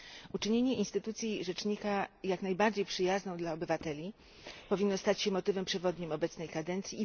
Uczynienie instytucji rzecznika jak najbardziej przyjazną dla obywateli powinno stać się motywem przewodnim obecnej kadencji.